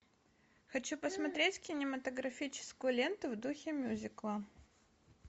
хочу посмотреть кинематографическую ленту в духе мюзикла